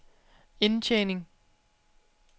indtjening